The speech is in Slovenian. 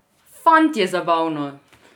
Fant, je zabavno!